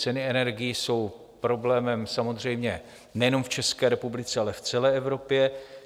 Ceny energií jsou problémem samozřejmě nejenom v České republice, ale v celé Evropě.